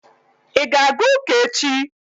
ị ga-aga ụka echi?